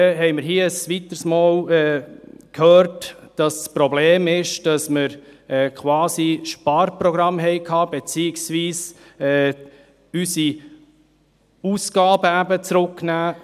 Wir haben ein weiteres Mal gehört, dass das Problem sei, dass wir Sparprogramme verabschiedet hätten, beziehungsweise, dass wir unsere Ausgaben gekürzt hätten.